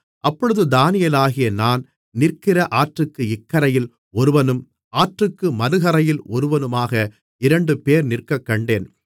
அப்பொழுது தானியேலாகிய நான் நிற்கிற ஆற்றுக்கு இக்கரையில் ஒருவனும் ஆற்றுக்கு மறுகரையில் ஒருவனுமாக இரண்டுபேர் நிற்கக்கண்டேன்